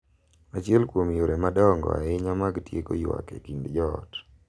Achiel kuom yore madongo ahinya mag tieko ywak e kind joot .